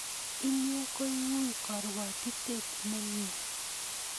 Inye ko iu karwotitet ne mye.